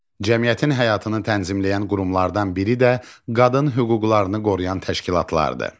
Cəmiyyətin həyatını tənzimləyən qurumlardan biri də qadın hüquqlarını qoruyan təşkilatlardır.